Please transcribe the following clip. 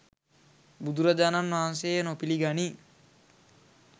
බුදුරජාණන් වහන්සේ එය නොපිළිගනී.